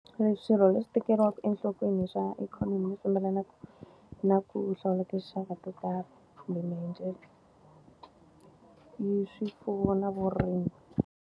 Swirho leswi tekeriwaku enhlokweni swa ikhonomi leswi fambelanaka na ku hlawula tinxaka to karhi, kumbe swi pfuna na vurimi.